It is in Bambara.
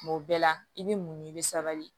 Kuma o bɛɛ la i bɛ muɲu i bɛ sabali